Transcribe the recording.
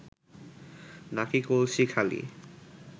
নাকি কলসি খালি